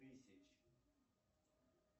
тысяч